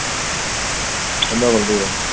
என்ன பண்றீங்க?